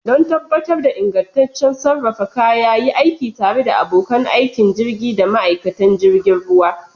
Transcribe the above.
Don tabbatar da ingantaccen sarrafa kaya, yi aiki tare da abokan aikin jirgi da ma'aikatan jirgin ruwa.